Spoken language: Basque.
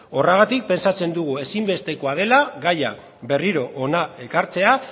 horregatik pentsatzen dugu ezinbestekoa dela gaia berriro hona ekartzea